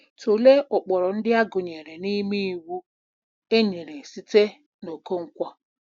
Tụlee ụkpụrụ ndị a gụnyere n'ime Iwu enyere site na Okonkwo: